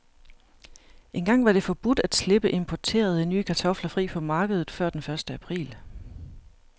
Engang var det forbudt at slippe importerede, nye kartofler fri på markedet før den første april.